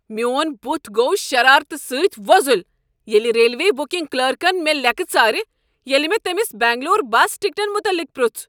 میون بُتھ گو شرارتہٕ سۭتۍ وۄزل ییلِہ ریلوے بُکِنگ کلرکن مےٚ لِیکہٕ ژارِ ییلِہ مےٚ تٔمِس بینگلور بس ٹِکٹن متعلق پرُژھ ۔